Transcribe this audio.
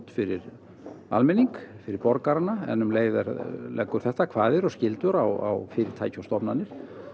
fyrir almenning fyrir borgarana en um leið leggur þetta kvaðir og skyldur á fyrirtæki og stofnanir